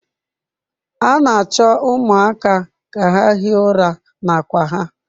A na-achọ ụmụaka ka ha hie ụra na akwa ha.